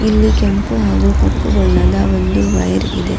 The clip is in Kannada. ಇಲ್ಲಿ ಕೆಂಪು ಹಾಗೂ ಕಪ್ಪು ಬಣ್ಣದ ಒಂದು ವಯರ್ ಇದೆ.